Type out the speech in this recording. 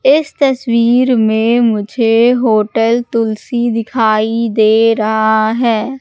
इस तस्वीर में मुझे होटल तुलसी दिखाई दे रहा है।